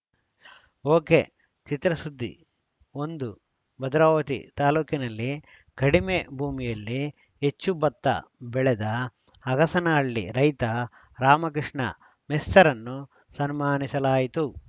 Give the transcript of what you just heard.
ಒಕೆಚಿತ್ರಸುದ್ದಿ ಒಂದು ಭದ್ರಾವತಿ ತಾಲೂಕಿನಲ್ಲಿ ಕಡಿಮೆ ಭೂಮಿಯಲ್ಲಿ ಹೆಚ್ಚು ಭತ್ತ ಬೆಳೆದ ಅಗಸನಹಳ್ಳಿ ರೈತ ರಾಮಕೃಷ್ಣ ಮೆಸ್ತರನ್ನು ಸನ್ಮಾನಿಸಲಾಯಿತು